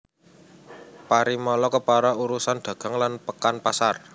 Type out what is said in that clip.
Parimala Kepala urusan dagang lan pekan pasar